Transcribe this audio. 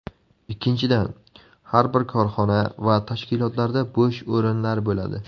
Ikkinchidan, har bir korxona va tashkilotlarda bo‘sh o‘rinlar bo‘ladi.